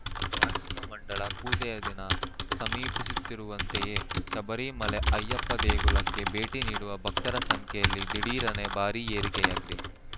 ವಾರ್ಷಿಕ ಮಂಡಲ ಪೂಜೆಯ ದಿನ ಸಮೀಪಿಸುತ್ತಿರುವಂತೆಯೇ ಶಬರಿಮಲೆ ಅಯ್ಯಪ್ಪ ದೇಗುಲಕ್ಕೆ ಭೇಟಿ ನೀಡುವ ಭಕ್ತರ ಸಂಖ್ಯೆಯಲ್ಲಿ ದಿಢೀರನೆ ಭಾರೀ ಏರಿಕೆಯಾಗಿದೆ